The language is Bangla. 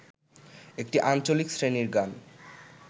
একটি আঞ্চলিক শ্রেণীর গান